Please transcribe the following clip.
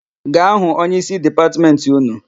Gaa hụ onyeísí Dipatmentị ụnụ!